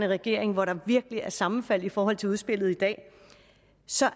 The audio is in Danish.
regering hvor der virkelig er sammenfald i forhold til udspillet i dag så